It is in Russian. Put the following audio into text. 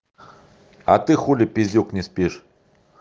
а ты хули пиздюк не спишь